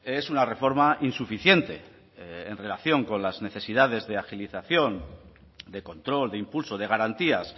es una reforma insuficiente en relación con las necesidades de agilización de control de impulso de garantías